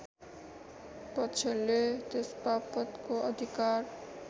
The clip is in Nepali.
पक्षले त्यसबापतको अधिकार